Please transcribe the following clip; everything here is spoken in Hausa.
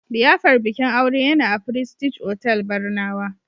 liyafar bikin aure yana a prestige otall Barnawa